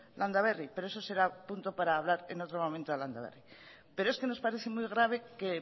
landaberri pero eso será punto para hablar en otro momento de landaberri pero es que nos parece muy grave que el